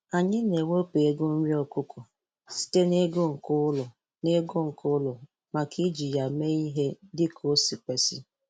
Anyị na-ewepụ ego nri okụkọ sịte n'ego nke ụlọ n'ego nke ụlọ maka iji ya mee ie dịkao si kwesị.